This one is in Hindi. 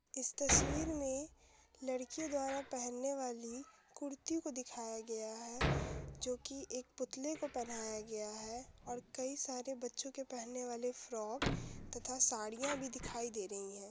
इस तस्वीर में लड़कियों द्वारा पहनने वाली कुर्ती को दिखाया गया है जो कि एक पुतले को पहनाया गया है और कई सारे बच्चों के पहनने वाले फ्रॉक तथा साड़ियां भी दिखाई दे रही हैं।